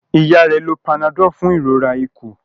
Ìyá rẹ ló Panadol fún ìrora ikùn.